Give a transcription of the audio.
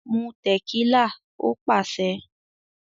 "Mú tẹ̀kílà" Ó pàṣẹ.